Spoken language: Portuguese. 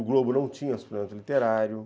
O Globo não tinha suplemento literário.